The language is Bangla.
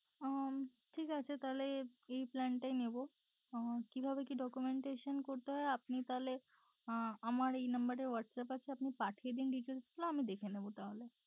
ওহ ঠিক আছে তাহলে এই plan টাই নিবো উহ কিভাবে কি documentation করতে হয় আপনি তাহলে আহ আমার এই নাম্বারে WhatsApp আছে আপনি পাঠিয়ে দিন details গুলো আমি দেখে নেবো তাহলে।